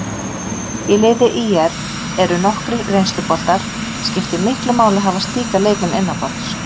Í liði ÍR eru nokkrir reynsluboltar, skiptir miklu máli að hafa slíka leikmenn innanborðs?